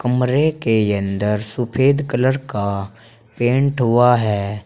कमरे के अंदर सुफेद कलर का पेंट हुआ है।